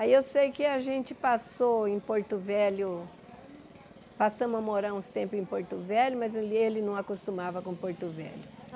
Aí eu sei que a gente passou em Porto Velho, passamos a morar uns tempos em Porto Velho, mas ele ele não acostumava com Porto Velho.